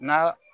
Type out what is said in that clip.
N'a